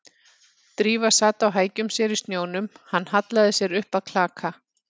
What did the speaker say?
Drífa sat á hækjum sér í snjónum, hann hallaði sér upp að klaka